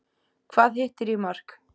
Hvað hittir í mark?